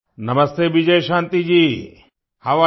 नमस्ते Vijayashanti ji how are you